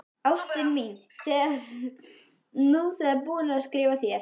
Ástin mín, ég er nú þegar búinn að skrifa þér.